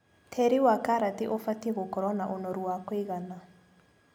Tĩri wa karati ũbatie gũkorwo na ũnoru wa kũigana.